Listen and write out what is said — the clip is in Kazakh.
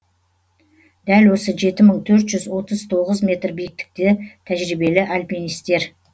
дәл осы жеті мың төрт жүз отыз тоғыз метр биіктікті тәжірибелі альпинистер